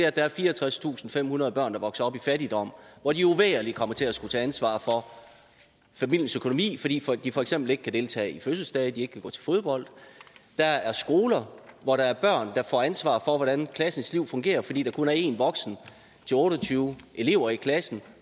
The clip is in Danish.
at der er fireogtredstusinde og femhundrede børn der vokser op i fattigdom hvor de uvægerligt kommer til at skulle tage ansvar for familiens økonomi fordi de for eksempel ikke kan deltage i fødselsdage ikke kan gå til fodbold der er skoler hvor der er børn der får ansvar for hvordan klassens liv fungerer fordi der kun er én voksen til otte og tyve elever i klassen